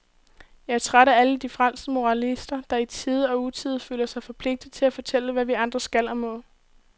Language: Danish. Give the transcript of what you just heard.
Jeg er træt af alle de frelste moralister, der i tide og utide føler sig forpligtet til at fortælle, hvad vi andre skal og må.